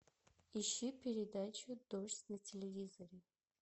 ищи передачу дождь на телевизоре